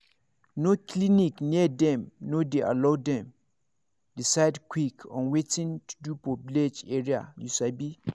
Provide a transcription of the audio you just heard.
no clinic near dem no dey allow them decide quick on watin to do for village area you sabi